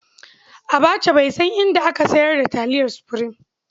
Abbacha bai san inda aka sayar da taliyar Supreme.